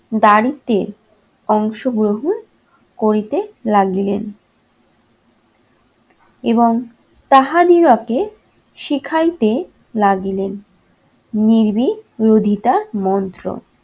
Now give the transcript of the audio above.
দারিদ্র্যে অংশগ্রহণ করিতে লাগিলেন। এবং তাহাদিগকে শিখাইতে লাগিলেন নির্ভীক বিরোধিতা মন্ত্র।